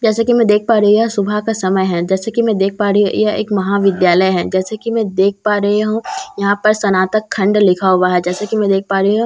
जैसे कि मैं देख पा रही यह सुबह का समय है जैसे कि मैं देख पा रही ह यह एक महाविद्यालय है जैसे कि मैं देख पा रही हूँ यहाँ पर सनातक खंड लिखा हुआ है जैसे कि मैं देख पा रही हूँ --